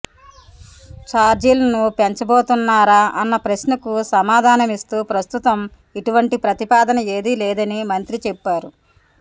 చార్జీలను పెంచబోతున్నారా అన్న ప్రశ్నకు సమాధానిమిస్తూ ప్రస్తుతం ఇటువంటి ప్రతిపాదన ఏదీ లేదని మంత్రి చెప్పారు